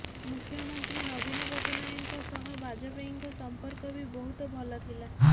ମୁଖ୍ୟମନ୍ତ୍ରୀ ନବିନ ପଟ୍ଟନାୟକଙ୍କ ସହ ବାଜପେୟୀଙ୍କ ସଂପର୍କ ବି ବହୁତ ଭଲ ଥିଲା